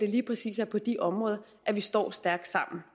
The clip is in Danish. lige præcis er på de områder at vi står stærkt sammen